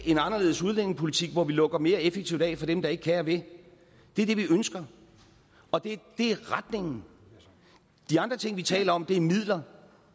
en anderledes udlændingepolitik hvor vi lukker mere effektivt af for dem der ikke kan og vil det er det vi ønsker det er retningen de andre ting vi taler om er midler